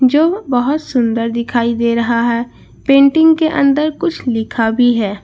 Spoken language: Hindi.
जो बहोत सुंदर दिखाई दे रहा है पेंटिंग के अंदर कुछ लिखा भी है।